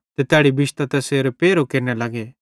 ते तैड़ी बिश्तां तैसेरो पैरहो केरने लग्गे